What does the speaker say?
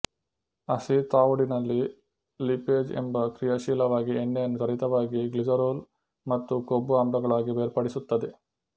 ಹಸಿ ತವುಡಿನಲ್ಲಿ ಲಿಪೇಜ್ ತುಂಬಾ ಕ್ರಿಯಶೀಲವಾಗಿ ಎಣ್ಣೆಯನ್ನು ತ್ವರಿತವಾಗಿ ಗ್ಲಿಸರೊಲ್ ಮತ್ತು ಕೊಬ್ಬು ಆಮ್ಲಗಳಾಗಿ ಬೇರ್ಪಡಿಸುತ್ತದೆ